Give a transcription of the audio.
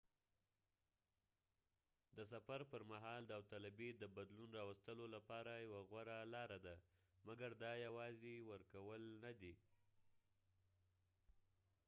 د سفر پرمهال داوطلبي د بدلون راوستلو لپاره يوه غوره لاره ده مګر دا یوازې ورکول نه دي